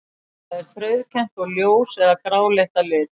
Það er frauðkennt og ljós- eða gráleitt að lit.